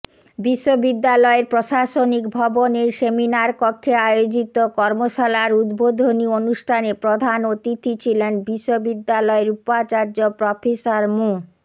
বিশ্ববিদ্যালয়ের প্রশাসনিক ভবনের সেমিনারকক্ষে আয়োজিত কর্মশালার উদ্বোধনী অনুষ্ঠানে প্রধান অতিথি ছিলেন বিশ্ববিদ্যালয়ের উপাচার্য প্রফেসর মো